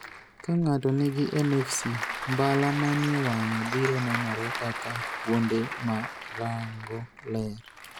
Ka ng'ato nigi MFC, mbala manie wang'e biro nenore kaka kuonde ma rango ler.